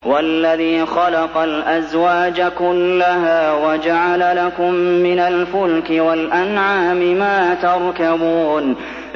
وَالَّذِي خَلَقَ الْأَزْوَاجَ كُلَّهَا وَجَعَلَ لَكُم مِّنَ الْفُلْكِ وَالْأَنْعَامِ مَا تَرْكَبُونَ